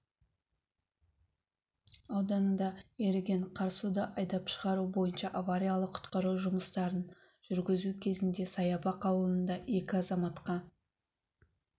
ауданында еріген қар суды айдап шығару бойынша авариялық-құтқару жұмыстарын жүргізу кезінде саябақ ауылында екі азаматқа